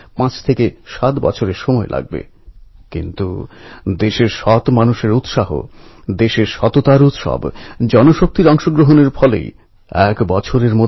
আমি একতা ভয়ানজী যোগেশ কটুনিয়াজী সুন্দর সিংজীকে তাঁদের সাহস ও সংগ্রামী মনোভাবের জন্য সেলাম জানাচ্ছি অভিনন্দন জানাচ্ছি